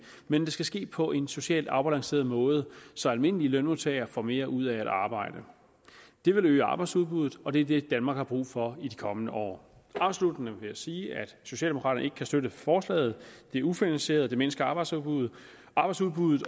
men det skal ske på en socialt afbalanceret måde så almindelige lønmodtagere får mere ud af at arbejde det vil øge arbejdsudbuddet og det er det danmark har brug for i de kommende år afsluttende vil jeg sige at socialdemokraterne ikke kan støtte forslaget det er ufinansieret det mindsker arbejdsudbuddet arbejdsudbuddet